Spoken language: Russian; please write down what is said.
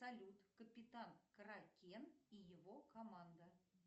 салют капитан кракен и его команда